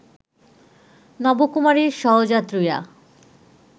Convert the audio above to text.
নবকুমারের সহযাত্রীরা